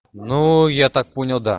ну я так понял да